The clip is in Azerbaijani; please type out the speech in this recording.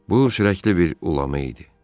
Bu ürəkli bir ulamı idi.